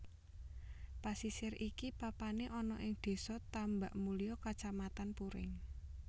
Pasisir iki papané ana ing Désa Tambakmulya Kacamatan Puring